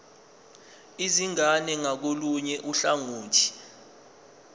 izingane ngakolunye uhlangothi